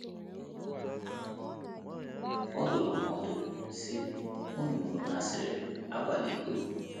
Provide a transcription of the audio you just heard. Ọ dụrụ ha ọdụ, sị: “ Unu nụrụ na a sịrị, ‘ Akwala iko. ’